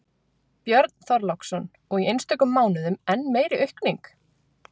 Björn Þorláksson: Og í einstökum mánuðum enn meiri aukning?